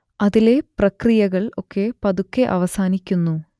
അതിലെ പ്രക്രിയകൾ ഒക്കെ പതുക്കെ അവസാനിക്കുന്നു